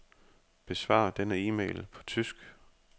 Besvar denne e-mail på tysk.